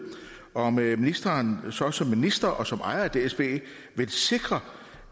om ministeren så som minister og som ejer af dsb vil sikre